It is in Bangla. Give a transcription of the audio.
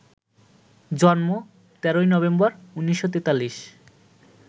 জন্ম, ১৩ নভেম্বর ১৯৪৩